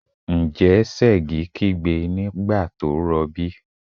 Ǹjẹ́ Ṣẹ̀gi kígbe nígbà tó rọbí?